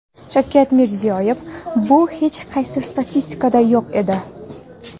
Shavkat Mirziyoyev: Bu hech qaysi statistikada yo‘q edi.